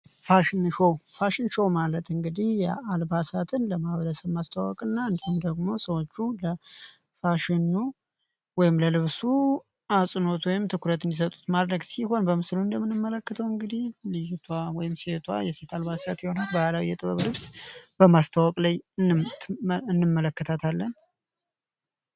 ፋሽን ሾው ፋሽን ሾው እንግዲህ አልባሳትን ለማስተዋወቅና ለልብሱ ትኩረት ወይም አጽንኦት እንዲሰጡት ሲሆን በምስሉ ላይ እንደምንመለከተው ልጅቷ ወይም ሴቷ ባህላዊ የጥበብ ልብስን በማስታወቅ ላይ እንመለከታለን።